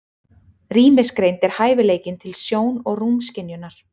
Rýmisgreind er hæfileikinn til sjón- og rúmskynjunar.